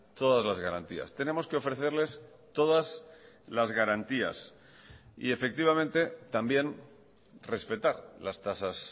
todas las garantías tenemos que ofrecerles todas las garantías y efectivamente también respetar las tasas